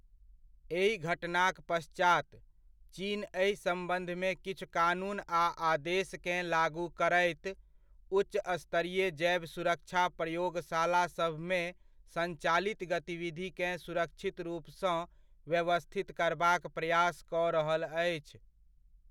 एहि घटनाक पश्चात, चीन एहि सम्बन्धमे किछु कानून आ आदेशकेँ लागू करैत, उच्च स्तरीय जैव सुरक्षा प्रयोगशाला सभमे सञ्चालित गतिविधिकेँ सुरक्षित रूपसँ व्यवस्थित करबाक प्रयास कऽ रहल अछि।